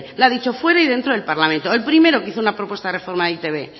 lo ha dicho fuera y dentro del parlamento el primero que hizo una propuesta de reforma de e i te be